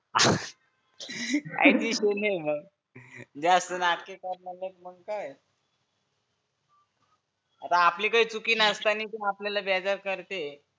काहीतरी सूनेह जास्त नाटकी करणारे मग काय आता आपली काय चुकी नसताना ती आपल्याला बेजार करतेय